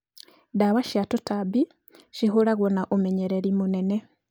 Dawa cia tũtambi cihũragwo na ũmenyereri mũnene